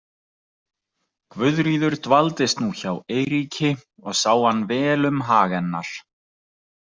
Guðríður dvaldist nú hjá Eiríki og sá hann vel um hag hennar.